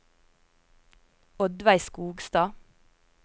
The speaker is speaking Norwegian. Oddveig Skogstad